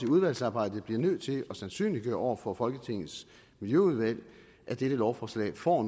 udvalgsarbejdet bliver nødt til at sandsynliggøre over for folketingets miljøudvalg at dette lovforslag får